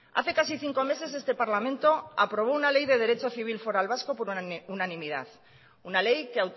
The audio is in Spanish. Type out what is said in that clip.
hace casi cinco meses este parlamento aprobó una ley de derecho civil foral vasco por unanimidad una ley que